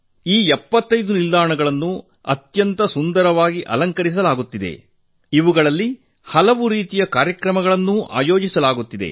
ಈ 75 ನಿಲ್ದಾಣಗಳನ್ನು ಅತ್ಯಂತ ಸುಂದರವಾಗಿ ಅಲಂಕರಿಸಲಾಗುತ್ತಿದ್ದು ಅಲ್ಲಿ ಹಲವು ರೀತಿಯ ಕಾರ್ಯಕ್ರಮಗಳನ್ನೂ ಆಯೋಜಿಸಲಾಗುತ್ತಿದೆ